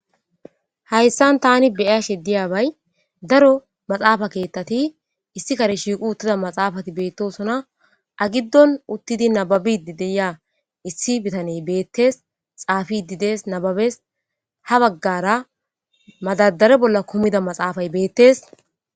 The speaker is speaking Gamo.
Hayssan tani be'ash diyaabay daro maxaafa keettati issi kare shiiqu uttida maxaafati beettosona. A giddon uttidi nababidi de'iya issi bitanee beettes. Xaafidi dees nababes. Ha baggara madadare bolla kumida maxaafay beettes.